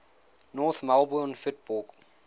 north melbourne football